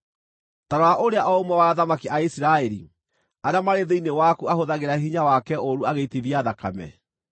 “ ‘Ta rora ũrĩa o ũmwe wa athamaki a Isiraeli arĩa marĩ thĩinĩ waku ahũthagĩra hinya wake ũũru agĩitithia thakame.